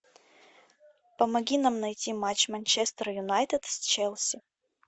помоги нам найти матч манчестер юнайтед с челси